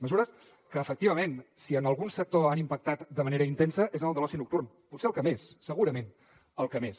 mesures que efectivament si en algun sector han impactat de manera intensa és en el de l’oci nocturn potser al que més segurament al que més